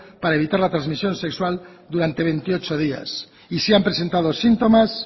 para evitar la transmisión sexual durante veintiocho días y si han presentado síntomas